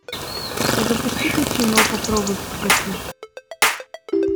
запусти ка кино попробуй подкати